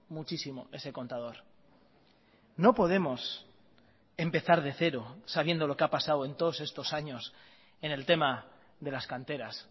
muchísimo ese contador no podemos empezar de cero sabiendo lo que ha pasado en todos estos años en el tema de las canteras